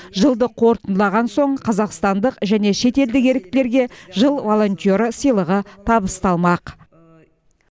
жылды қорытындылаған соң қазақстандық және шетелдік еріктілерге жыл волонтері сыйлығы табысталмақ